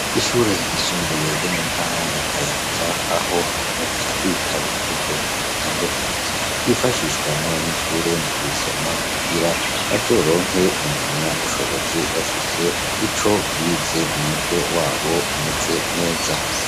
Ishure ryisumbuye ryo mu ntara ya Kayanza aho haboneka ibitabo vy'ubwoko butandukanye vyifashishwa n'abanyeshure mu kubisoma kugira bazoronke impamyabushobozi bafise ico bize mu mutwe wabo umeze neza.